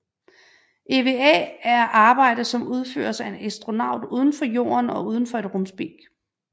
EVA er arbejde som udføres af en astronaut udenfor Jorden og udenfor et rumskib